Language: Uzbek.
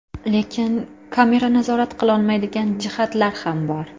Lekin kamera nazorat qilolmaydigan jihatlar ham bor.